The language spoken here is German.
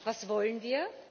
Was wollen wir?